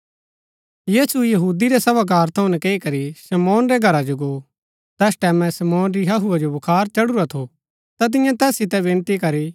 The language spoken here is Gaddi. यीशु यहूदी रै सभागार थऊँ नकैई करी शमौन रै घरा जो गो तैस टैमैं शमौन री हहुआ जो बुखार चढुरा थू ता तियें तैस सितै विनती करी